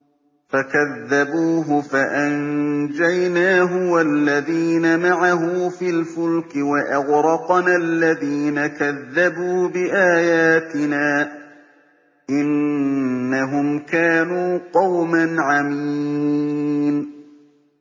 فَكَذَّبُوهُ فَأَنجَيْنَاهُ وَالَّذِينَ مَعَهُ فِي الْفُلْكِ وَأَغْرَقْنَا الَّذِينَ كَذَّبُوا بِآيَاتِنَا ۚ إِنَّهُمْ كَانُوا قَوْمًا عَمِينَ